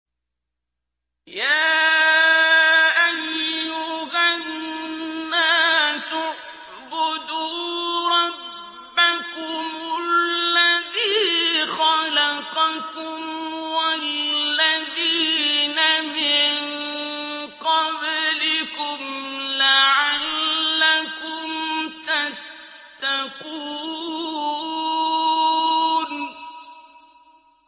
يَا أَيُّهَا النَّاسُ اعْبُدُوا رَبَّكُمُ الَّذِي خَلَقَكُمْ وَالَّذِينَ مِن قَبْلِكُمْ لَعَلَّكُمْ تَتَّقُونَ